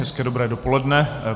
Hezké dobré dopoledne.